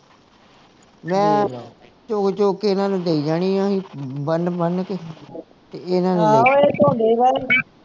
ਮੈਂ ਚੁੱਗ ਚੁੱਗ ਕੇ ਇਹਨਾਂ ਨੂੰ ਦੇਈ ਜਾਣੀ ਆ ਬੰਨ ਬੰਨ ਕੇ ਤੇ ਇਹਨਾਂ ਨੇ